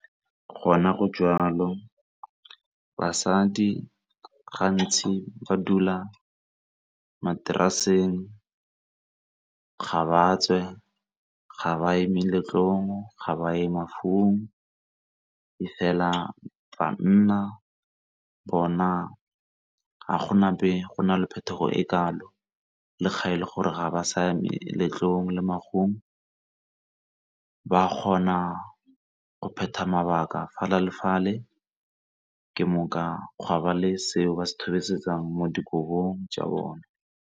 Gona go jwalo basadi gantsi ba dula materaseng ga ba tswe, ga ba ye meletlong, ga ba ye mafung, e fela banna bona ga gona be go na le phetogo e kalo, le ga e le gore ga ba saya meletlong le mafung ba kgona go phetha mabaka fele le fale ke gwa ba le seo ba se mo dikolong tša bone.